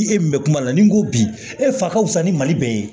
Ni e min mɛ kuma na ni n ko bi e fa ka wusa ni mali bɛɛ ye